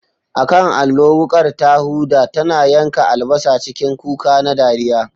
A kan allo, wukar ta huda, tana yanka albasa cikin kuka na dariya.